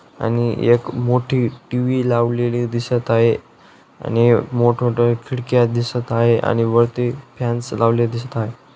आणि येक मोठी टी_व्ही लावलेली दिसत आहे आणि मोठमोठ्या खिडक्या दिसत हाय आणि वरती फॅन्स लावले दिसत हाय.